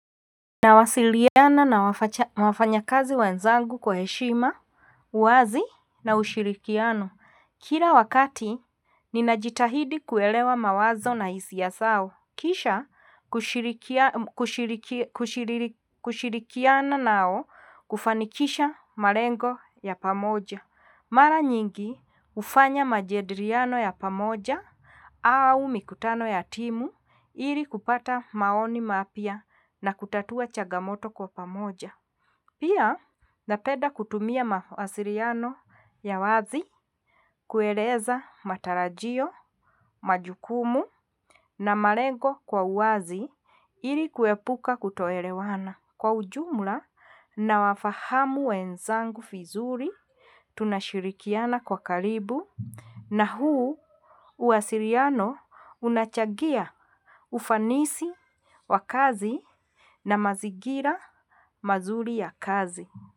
Nawasiliana na wafanya kazi wenzangu kwa heshima uwazi na ushirikiano kila wakati ninajitahidi kuelewa mawazo na hisia sao kisha kushirikiana nao kufanikisha malengo yapamoja mara nyingi ufanya majediriano yapamoja au mikutano ya timu ili kupata maoni mapya na kutatua chagamoto kwapamoja pia napeda kutumia mawasiliyano ya wazi kueleza matarajio majukumu na malengo kwa uwazi ili kuepuka kutoerewana kwa ujumula na wafahamu wenzangu fizuri tunashirikiana kwa kalibu nahuu uwasiliano una chagia ufanisi wakazi na mazikira mazuri ya kazi.